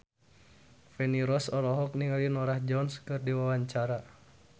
Feni Rose olohok ningali Norah Jones keur diwawancara